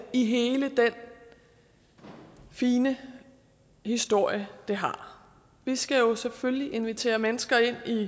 i hele den fine historie det har vi skal jo selvfølgelig invitere mennesker ind i